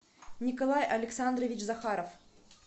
николай александрович захаров